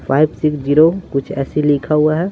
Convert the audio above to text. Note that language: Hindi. फाइव सिक्स ज़िरो कुछ ऐसे लिखा हुआ है।